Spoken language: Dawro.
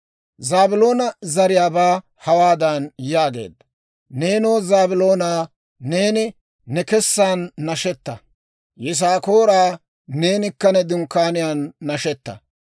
Zaabiloona zariyaabaa hawaadan yaageedda; «Neenoo Zaabiloonaa, neeni ne kessan nashetaa; Yisaakooraa, neenikka ne dunkkaaniyaan nashetaa.